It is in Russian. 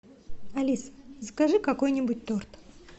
алиса закажи какой нибудь торт